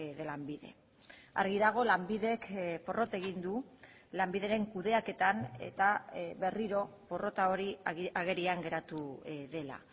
de lanbide argi dago lanbidek porrot egin du lanbideren kudeaketan eta berriro porrota hori agerian geratu dela